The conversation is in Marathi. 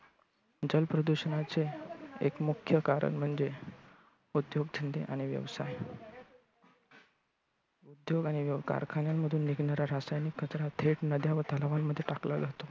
जल प्रदूषणाचे एक मुख्य कारण म्हणजे उद्योगधंदे आणि व्यवसाय. उद्योग आणि कारखान्यांमधून निघणारा रासायनिक कचरा थेट नद्या व तलावांमध्ये टाकला जातो.